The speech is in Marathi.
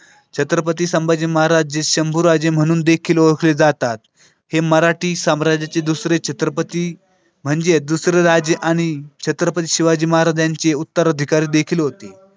छत्रपती संभाजी महाराज जे शंभूराजे म्हणून देखील ओळखली जातात हे मराठी साम्राज्याचे दुसरे छत्रपती म्हणजे दुसरं राजे आणि छत्रपती शिवाजी महाराज यांची उत्तराधिकारी देखील होते.